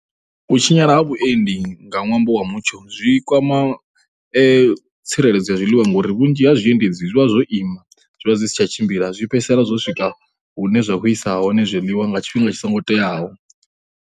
U tshinyala ha vhuendi nga ṅwambo wa mutsho zwi kwama tsireledzo ya zwiḽiwa ngori vhunzhi ha zwiendedzi zwi vha zwo ima, zwi vha zwi si tsha tshimbila. Zwi fhedzisela zwo swika hune zwa khou isa hone zwiḽiwa nga tshifhinga tshi songo teaho.